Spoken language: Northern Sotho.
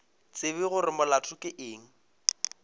tsebe gore molato ke eng